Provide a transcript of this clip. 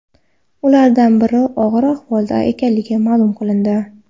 Ulardan biri og‘ir ahvolda ekanligi ma’lum qilindi.